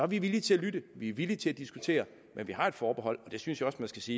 vi villige til at lytte vi er villige til at diskutere men vi har et forbehold og det synes jeg også man skal sige